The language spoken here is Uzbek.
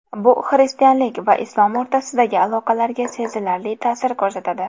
Bu xristianlik va islom o‘rtasidagi aloqalarga sezilarli ta’sir ko‘rsatadi.